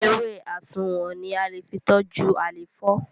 Ewé asunwun ní a lẹ fí toju àléfọ